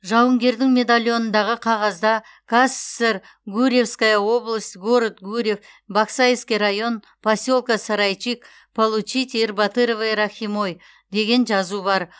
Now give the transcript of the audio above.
жауынгердің медальонындағы қағазда казсср гурьевская область город гурьев баксайский район поселка сарайчик получить ербатыровой рахимой деген жазу бар